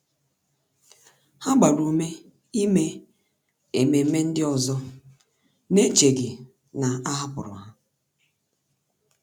Há gbàrà ume ímé ememe ndị ọzọ n’échèghị́ na a hàpụ̀rụ́ ha.